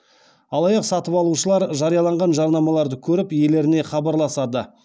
алаяқ сатып алушылар жарияланған жарнамаларды көріп иелеріне хабарласады